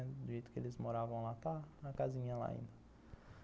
Do jeito que eles moravam lá, está a casinha lá ainda.